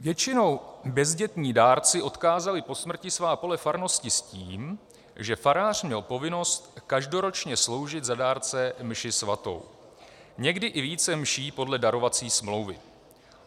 Většinou bezdětní dárci odkázali po smrti svá pole farnosti s tím, že farář měl povinnost každoročně sloužit za dárce mši svatou, někdy i více mší podle darovací smlouvy.